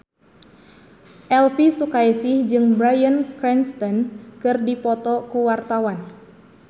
Elvi Sukaesih jeung Bryan Cranston keur dipoto ku wartawan